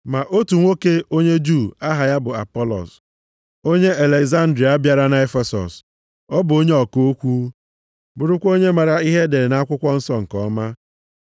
Ma otu nwoke onye Juu, aha ya bụ Apọlọs, onye Alegzandria bịara na Efesọs. Ọ bụ onye ọka okwu, bụrụkwa onye maara ihe edere nʼAkwụkwọ Nsọ nke ọma.